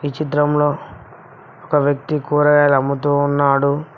ఈ చిత్రంలో ఒక వ్యక్తి కూరగాయలు అమ్ముతూ ఉన్నాడు.